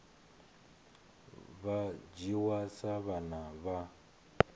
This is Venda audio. vha dzhiwa sa vhana vha